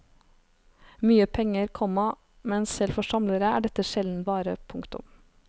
Mye penger, komma men selv for samlere er dette sjelden vare. punktum